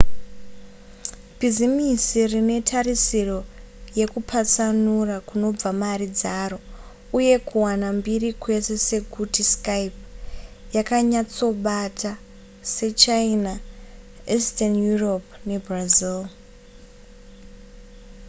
bhizimisi rine tarisiro yekupatsanura kunobva mari dzaro uye kuwana mbiri kwese kwekuti skype yakanyatsobata sechina eastern europe nebrazil